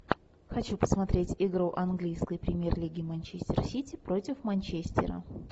хочу посмотреть игру английской премьер лиги манчестер сити против манчестера